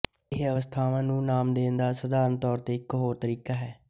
ਇਹ ਅਵਸਥਾਵਾਂ ਨੂੰ ਨਾਮ ਦੇਣ ਦਾ ਸਧਾਰਨ ਤੌਰ ਤੇ ਇੱਕ ਹੋਰ ਤਰੀਕਾ ਹੈ